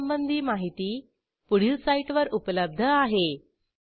ह्या ट्युटोरियलचे भाषांतर मनाली रानडे यांनी केले असून मी रंजना भांबळे आपला निरोप घेते160